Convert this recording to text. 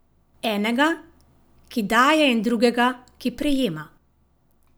Enega, ki daje in drugega, ki prejema.